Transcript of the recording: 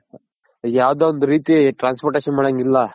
ಯಾವ್ದೋ ಒಂದ್ ರೀತಿ transportation ಮಾಡಂಗಿಲ್ಲ.